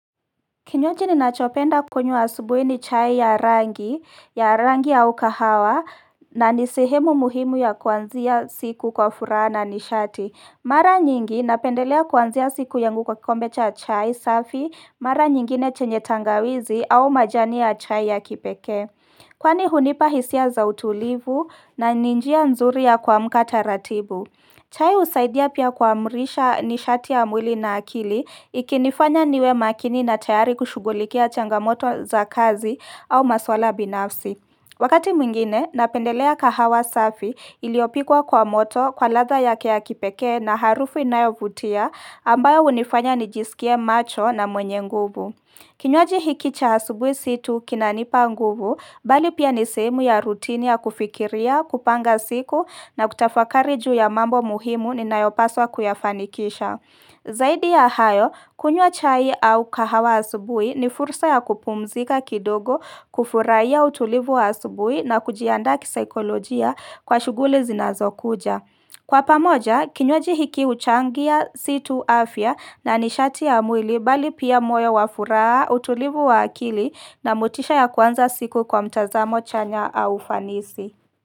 Kinywaji ninachopenda kunywa asubuhi ni chai ya rangi ya rangi au kahawa na nisehemu muhimu ya kuanzia siku kwa furaha na ni shati. Mara nyingi napendelea kuanzia siku yangu kwa kikombe cha chai safi mara nyingine chenye tangawizi au majani ya chai ya kipekee. Kwani hunipa hisia za utulivu na ni njia nzuri ya kuamka taratibu. Chai usaidia pia kuamrisha ni shati ya mwili na akili ikinifanya niwe makini na tayari kushugulikia changamoto za kazi au maswala binafsi. Wakati mwingine, napendelea kahawa safi iliopikwa kwa moto kwa ladha ya kipekee na harufu inayovutia ambayo hunifanya nijisikie macho na mwenye nguvu. Kinywaji hiki cha asubui si tu kinanipa nguvu, bali pia nisehemu ya rutini ya kufikiria, kupanga siku na kutafakari juu ya mambo muhimu ninayopaswa kuyafanikisha. Zaidi ya hayo, kunywa chai au kahawa asubui ni fursa ya kupumzika kidogo kufuraia utulivu wa asubui na kujiandaa kisaikolojia kwa shuguli zinazokuja. Kwa pamoja, kinywaji hiki huchangia si tu afya na nishati ya mwili bali pia moyo wafuraha, utulivu wa akili na motisha ya kuanza siku kwa mtazamo chanya au fanisi.